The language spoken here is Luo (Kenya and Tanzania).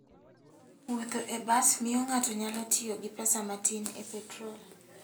Wuotho e bas miyo ng'ato nyalo tiyo gi pesa matin e petrol.